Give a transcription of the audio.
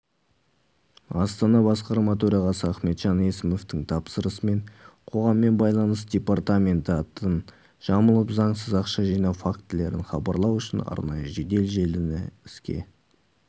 астана басқарма төрағасы ахметжан есімовтің тапсырмасымен қоғаммен байланыс департаменті атын жамылып заңсыз ақша жинау фактілерін хабарлау үшін арнайы жедел желіні іске